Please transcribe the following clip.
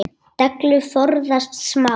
Dellu forðast má.